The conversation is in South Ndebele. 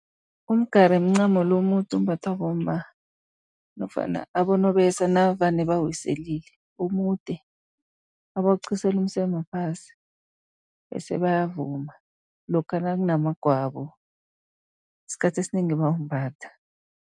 Umgari mncamo lo omude ombathwa bomma nofana abonobesa, navane bawiselile. Omude abawuqhisela umseme phasi, bese bayavuma. Lokha nakunamagwabo isikhathi esinengi bayawumbatha.